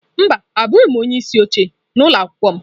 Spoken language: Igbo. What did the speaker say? Mba abụghị m onye isi oche n'ụlọ akwụkwọ m.